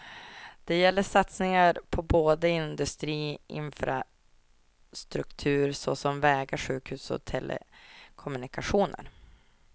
Det gäller satsningar på både industri och infrastruktur såsom vägar, sjukhus och telekommunikationer.